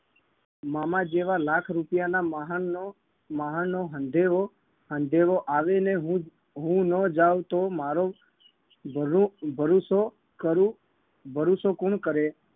મામા જેવા લાખ રૂપિયાના માહણનો માહણનો હંધેહો હંધેહો આવે ને હું હું ન જાઉં તો મારો ભરું ભરુસો કરું ભરુસો કૂણ કરે